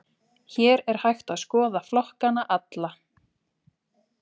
Hér er hægt að skoða flokkana alla.